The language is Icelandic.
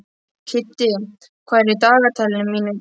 Kiddi, hvað er í dagatalinu mínu í dag?